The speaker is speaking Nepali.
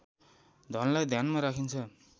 धनलाई ध्यानमा राखिन्छ